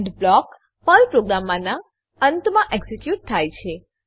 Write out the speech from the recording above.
and block Perl પ્રોગ્રામનાં અંતમાં execute થાય છે